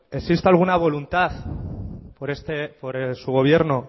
existe alguna voluntad por su gobierno